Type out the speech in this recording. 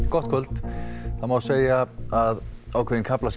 gott kvöld það má segja að ákveðin kaflaskil